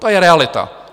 To je realita.